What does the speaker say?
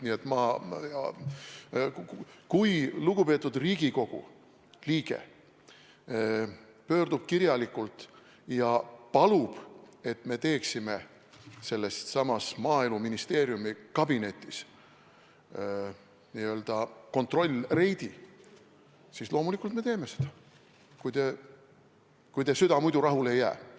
Nii et kui lugupeetud Riigikogu liige pöördub kirjalikult ja palub, et me teeksime sellessamas Maaeluministeeriumi kabinetis n-ö kontrollreidi, siis loomulikult me teeme seda, kui teie süda muidu rahule ei jää.